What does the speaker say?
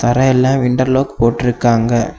அப்புறம் எல்லா window lock போட்டு இருக்காங்க.